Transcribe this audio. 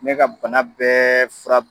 Ne ka bana bɛɛ fura b